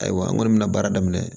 Ayiwa n kɔni bɛna baara daminɛ